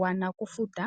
wa nokufuta.